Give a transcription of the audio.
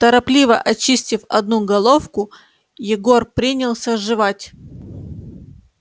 торопливо очистив одну головку егор принялся жевать